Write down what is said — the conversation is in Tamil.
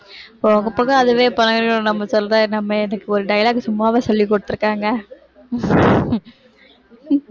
போக போக அதுவே பழகிரும் நம்ம சொல்ற நம்ம எனக்கு ஒரு dialogue சும்மாவே சொல்லிக் கொடுத்திருக்காங்க